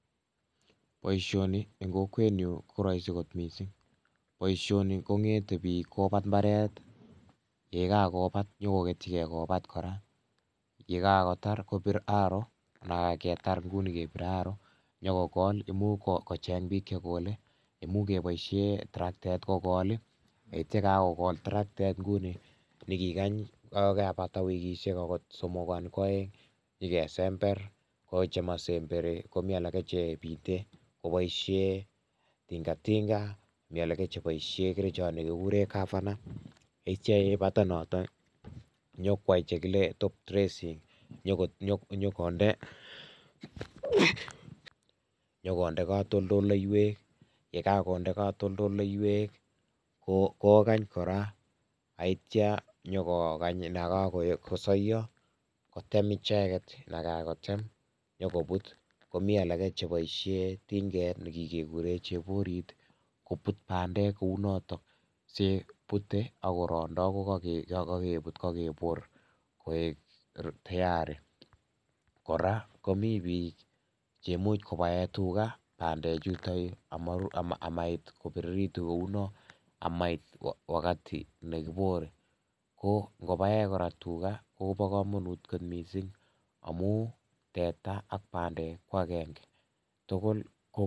boishoni en kokweet nyuun koroisi koot mising , boishoni kongete biik kobaat imbareet yegagobaat nyagogetyigee kobaat koraa, yegagotaar kobiir aroo ananketar kouu nii kebire arroo nyagogool imuch kocheng biik chegoole imuch keboishen tracteet kogool iih yeityokagogol tracteet nguni nyogiigany yegagobata wikisheek somogu anan kwooeng yagesembeer ooh chemosemberii komii alage chebiiten koboishen tingatinga mii alagee cheboisheen kerichoot negigureen kafana yeityoo yebata noton nyakwaai chegile top dressing nyogonde nyogonde katoldoleiiweek yegagonde katoldoleiiweek kogaany koraa yeityoo nyagoo gany yegagosoiyoo kotem icheget yegagotem nyogobuut, komii alage cheboisheen tingeet negigegureen cheboriit kobuut bandeek kouu noton siyebute agorondoo kogogebuut kogeboor koeek tiarii, koraa komii biik cheimuch kobaen tuga bandeek chuton amait kobiregitun kouu non amait wagati negiboor, ko ngobaeen koraa tuga kobokomonuut kot mising omuun teeta ak bandeek ko agenge tugul ko